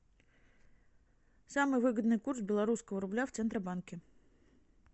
самый выгодный курс белорусского рубля в центробанке